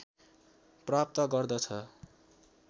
प्राप्त गर्दछ